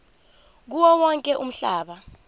kuwo wonke umhlaba